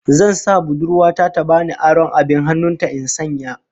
Zan sa budurwa ta ta bani aron abin hannun ta in sanya